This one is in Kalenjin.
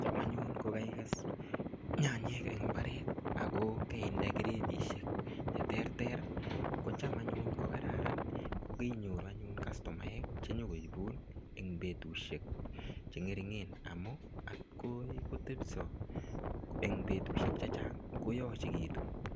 Chaam anyun ko kaikes nyanyik en imbaret ak ko keinde gredishek cheterter kocham anyun ko kararan ko keinyoru anyun kastomaek chenyo koibun en betushek che ngeringen amun akoi kotebso eng betushek chechang koyochekitu.